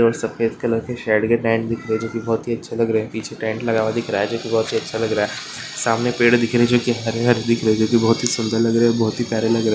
सफ़ेद कलर के शेड के टाइप दिख रहे है जो कि बहुत ही अच्छे लग रहे है पीछे टेंट लगा हुआ दिख रहा है जो की बहुत ही अच्छा लग रहा है सामने पेड़ दिख रहे हैं जो की हरे-हरे दिख रही है जो की बहुत सुंदर लग रहे है बहुत ही प्यारे लग रहे--